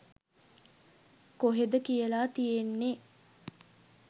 කොහෙද කියල තියෙන්නෙ?